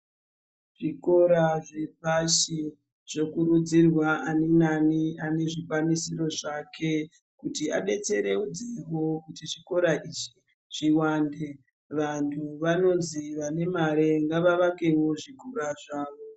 Zvikora zvepashi zvokurudzirwa aninaani anezvikwanisiro zvake kuti abetseredzevo kuti zvikora izvi zvivande. Vantu vanozi vane mare ngavavakevo zvikora zvavo.